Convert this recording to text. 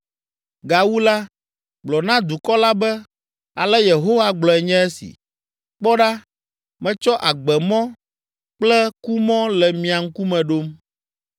“Gawu la, gblɔ na dukɔ la be, ‘Ale Yehowa gblɔe nye esi: Kpɔ ɖa, metsɔ agbemɔ kple kumɔ le mia ŋkume ɖom.